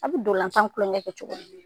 A bɛ donlanfan klonkɛ kɛ cogoya min